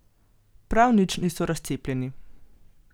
Prav nič niso razcepljeni.